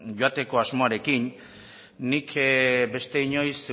joateko asmoarekin nik beste inoiz